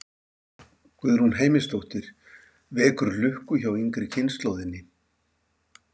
Guðrún Heimisdóttir: Vekur lukku hjá yngri kynslóðinni?